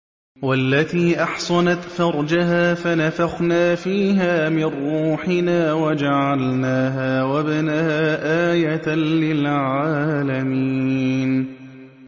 وَالَّتِي أَحْصَنَتْ فَرْجَهَا فَنَفَخْنَا فِيهَا مِن رُّوحِنَا وَجَعَلْنَاهَا وَابْنَهَا آيَةً لِّلْعَالَمِينَ